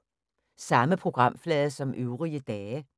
Samme programflade som øvrige dage